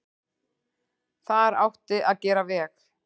Þar átti að gera veg.